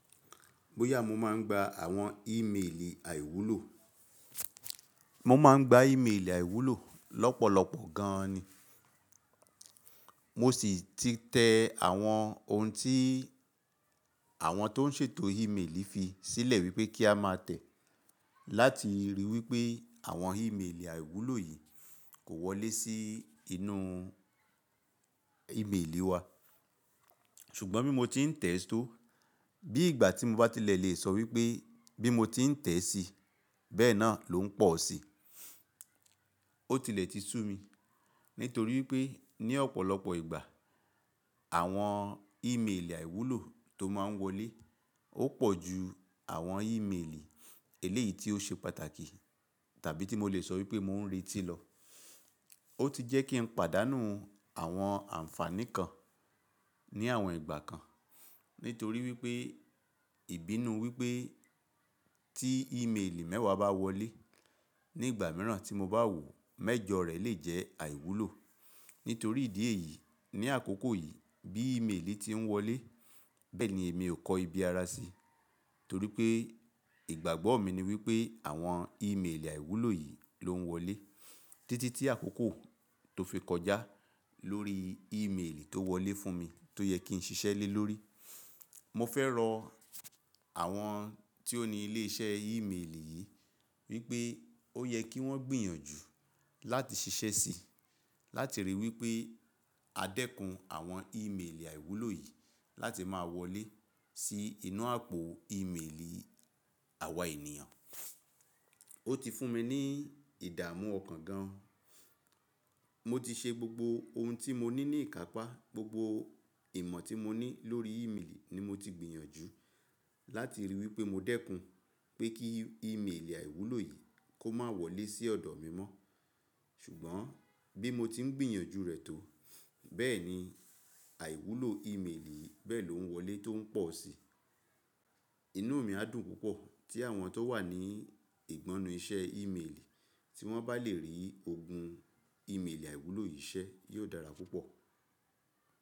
Bóyá mo máa ń gba àwọn ímeèlì àìwúlò. Mo máa ń gba ímeèlì àìwúlò lọ́pọ̀lọpọ̀ gan an ni. Mo ṣì ti tẹ àwọn ohun tí àwọn tó ń ṣètò ímeèlì fi sílẹ̀ wípé kí a má tẹ̀, láti rí wípé àwọn ímeèlì àìwúlò yìí kò wọlé sí inú ímeèlì wa. Ṣùgbọ́n bí mo tí ń tẹ̀ ẹ́ tó, bí ìgbà tí mọ bá ti lè lè sọ wípé bí mo tí ń tẹ̀ sí, bẹ́ẹ̀ náà ló ń pọ̀ sí. Ó tilẹ̀ ti sú mi, nítorí wípé ní ọ̀pọ̀lọpọ̀ ìgbà àwọn ímeèlì àìwúlò tó máa ń wọlé, ó pọ̀ ju àwọn ímeèlì eléyìí tí ó ṣe pàtàkì, tàbí tí mo lè sọ wípé mò ń retí lọ. Ó ti jẹ́ kí n pàdánù àwọn àǹfààní kan ní àwọn ìgbà kan. Nítorí wípé ìbínú wípé tí ímeèlì mẹ́wà bá wọlé nígbà mìíràn tí mo bá wò, mẹ́jọ rẹ̀ lè jẹ́ àìwúlò. Nítorí ìdí èyí, ní àkókò yìí bí ímeèlì tí ń wọlé, bẹ́ẹ̀ ni èmi ò kọ ibi ara sí, torí pé ìgbàgbọ́ mi ni wípé àwọn ímeèlì àìwúlò yìí ló ń wọlé títí tí àkókò tó fi kọjá lórí ímeèlì tó wọlé fún mi tó yẹ kí n ṣiṣẹ́ lé lórí. Mo fẹ́ rọ àwọn tí ó ní ilé iṣẹ́ ímeèlì yìí wípé ó yẹ kí wọ́n gbìyànjú láti ṣiṣẹ́ síi, láti rí wípé a dẹ́kun àwọn ímeèlì àìwúlò yìí láti má wọlé sí inú àpò ímeèlì àwa ènìyàn. Ó ti fún mi ní ìdààmú ọkàn gan. Mo ti ṣe gbogbo ohun tí mo ní ní ìkápá, gbogbo ìmọ̀ tí mo ní lórí ímeèlì ni mo ti gbìyànjú láti rí i wípé mo dẹ́kun pé kí ímeèlì àìwúlò yìí kó má wọlé sí ọ̀dọ̀ mi mọ́. Ṣùgbọ́n bí mo tí ń gbìyànjú rẹ̀ tó, bẹ́ẹ̀ ni àìwúlò ímeèlì yìí bẹ́ẹ̀ ló ń wọlé tó ń pọ̀ sí. Inú mi á dùn púpọ̀ tí àwọn tó wà ní ìgbọnnu iṣẹ́ ímeèlì tí wọ́n bá lè rí ogun ímeèlì àìwúlò yìí ṣẹ́, yóò dára púpọ̀.